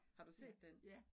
Har du set den?